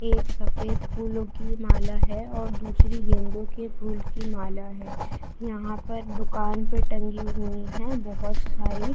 ये एक सफ़ेद फूलो की माला है और दूसरी गेंदों की फूल की माला है यहाँ पर दुकान पे टंगी हुई है बहुत सारी ।